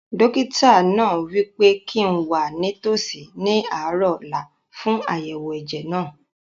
Dókítà náà wí pé kíi n wà nítòsí ní àárọ̀ ọ̀la fún àyẹ̀wò ẹ̀jẹ̀ náà